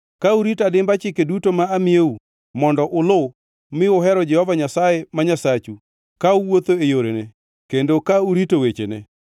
Ka urito adimba chike duto ma amiyou mondo uluw mi uhero Jehova Nyasaye ma Nyasachu ka uwuotho e yorene kendo ka urito wechene,